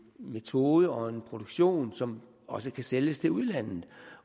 metode og en produktion som også kan sælges til udlandet